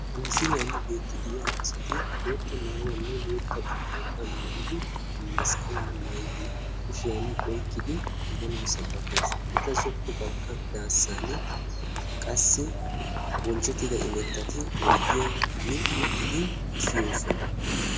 Ha misiliyaan beettiidi de'iyaa asati bootta maayuwaanne bootta bari pooxaa maayidi masqalaa maayidi kushshiyaan oyqqidi ammanuwaa sabakkees. eta zokko bagga daassani qassi bonchchettida imatatti oydiyaan uttidi siyoosona.